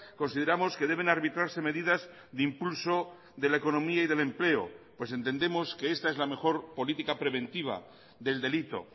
consideramos que deben arbitrarse medidas de impulso de la economía y del empleo pues entendemos que esta es la mejor política preventiva del delito